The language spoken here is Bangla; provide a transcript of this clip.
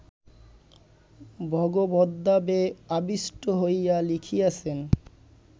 ভগবদ্ভাবে আবিষ্ট হইয়া লিখিয়াছেন